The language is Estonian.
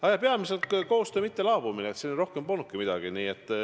Aga peamiselt koostöö mittelaabumine – rohkem polnudki midagi.